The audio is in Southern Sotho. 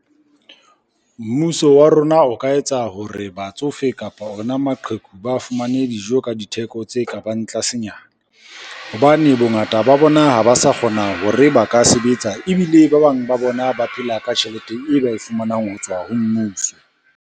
Mmuso wa rona o ka etsa hore batsofe, kapa ona maqheku ba fumane dijo ka ditheko tse ka bang tlasenyana. Hobane bongata ba bona ha ba sa kgona hore ba ka sebetsa, ebile ba bang ba bona ba phela ka tjhelete e ba e fumanang ho tswa ho mmuso.